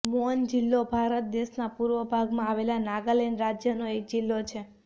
મોન જિલ્લો ભારત દેશના પૂર્વ ભાગમાં આવેલા નાગાલેંડ રાજ્યનો એક જિલ્લો છે